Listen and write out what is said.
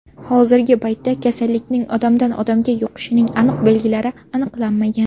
Hozirgi paytda kasallikning odamdan odamga yuqishining aniq belgilari aniqlanmagan.